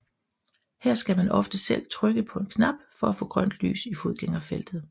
Her skal man ofte selv trykke på en knap for at få grønt lys i fodgængerfeltet